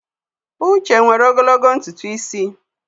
Uche nwere ogologo ntutu isi.